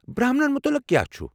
برہمنن متعلق کیٛاہ چھُ؟